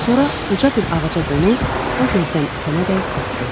Sonra uca bir ağaca qonub, o gözdən itənədək baxdı.